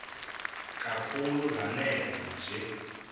kakhulu lanela nje